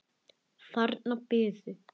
Þar biðu